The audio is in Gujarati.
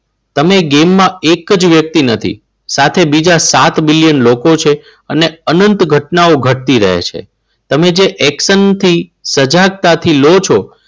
તમે ક્યાંકમાં એક જ વ્યક્તિ નથી સાથે બીજા સાત મિલિયન લોકો છે. અને અનંત ઘટનાઓ ઘટતી રહે છે. તમે જે એક્શન થી સજાગતા થી લો છો.